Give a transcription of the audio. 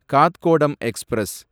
Kathgodam express